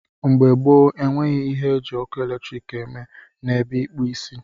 Mgbe gboo, enweghị ihe eji ọkụ eletrik eme n'ebe ịkpụ isi.